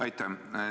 Aitäh!